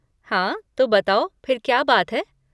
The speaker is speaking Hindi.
हाँ, तो बताओ फिर क्या बात है?